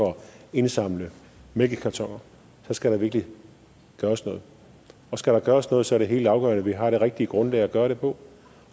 indsamle mælkekartoner så skal der virkelig gøres noget og skal der gøres noget er det helt afgørende at vi har det rigtige grundlag at gøre det på